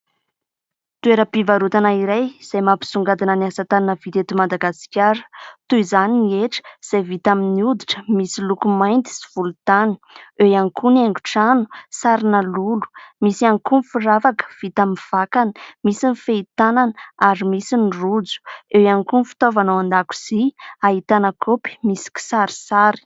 Toeram-pivarotana iray izay mampisongadina ny asa tanana vita eto Madagasikara. Toy izany ny hetra izay vita amin'ny oditra misy loko mainty sy volontany; eo ihany koa ny haingon-trano sarina lolo; misy ihany koa ny firavaka vita amin'ny vakana; misy ny fehi-tanana ary misy ny rojo; eo ihany koa ny fitaovana ao an-dakozia, ahitana kaopy misy kisarisary.